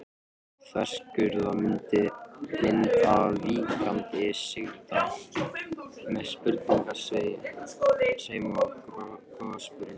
Þverskurðarmynd af víkkandi sigdal með sprungusveimi og gossprungum.